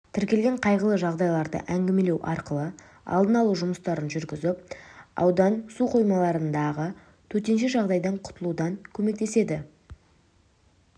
тіркелген қайғылы жағдайларды әңгімелеу арқылы алдын алу жұмыстарын жүргізіп аудан су қоймаларындағы төтенше жағдайдан құтылудан көмектеседі